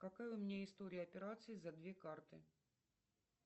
какая у меня история операций за две карты